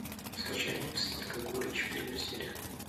скачай мульт сладкая горечь первая серия